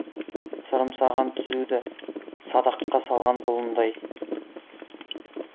сырым саған түзуді садаққа салған бұлындай